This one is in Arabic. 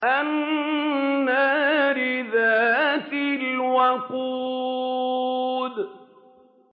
النَّارِ ذَاتِ الْوَقُودِ